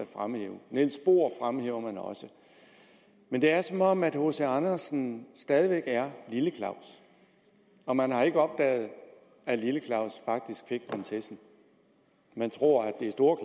fremhæver niels bohr men det er som om hc andersen stadig er lille claus og man har ikke opdaget at lille claus faktisk fik prinsessen man tror det er store